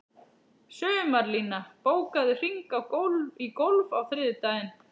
Sumarlína, bókaðu hring í golf á þriðjudaginn.